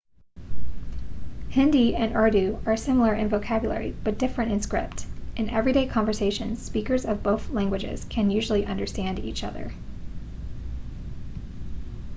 hindi and urdu are similar in vocabulary but different in script in everyday conversations speakers of both languages can usually understand each other